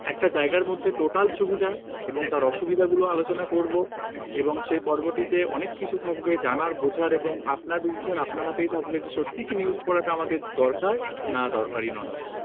একটা জায়গার মধ্যে total সুবিধা এবং তার অসুবিধা গুলো আলোচনা করব এবং সে পর্বটিতে অনেক কিছু থাকবে জানার বোঝার এবং আপনার decision আপনার হাতেই থাকবে যে সত্যিই কি news পড়াটা আমাদের দরকার না, দরকারই নয়